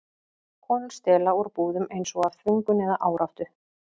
Konur stela úr búðum, eins og af þvingun eða áráttu.